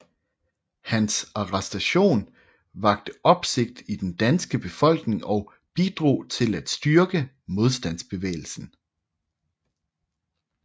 Hans arrestation vakte opsigt i den danske befolkning og bidrog til at styrke modstandsbevægelsen